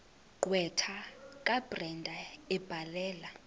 gqwetha kabrenda ebhalela